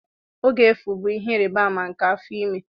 Oge efu bụ ihe ịrịba ama nke afọ ime.